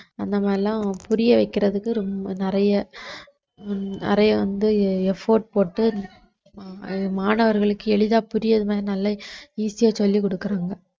அந்த மாதிரி எல்லாம் புரிய வைக்கிறதுக்கு ரொம்ப நிறைய உம் நிறைய வந்து effort போட்டு மாணவர்களுக்கு எளிதா புரியிற மாதிரி நல்ல easy ஆ சொல்லிக் கொடுக்கிறாங்க